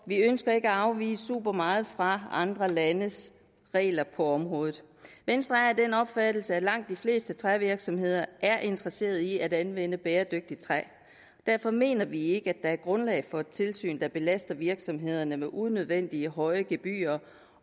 vi ønsker ikke at afvige supermeget fra andre landes regler på området venstre er af den opfattelse at langt de fleste trævirksomheder er interesserede i at anvende bæredygtigt træ derfor mener vi ikke at der er grundlag for et tilsyn der belaster virksomhederne med unødvendigt høje gebyrer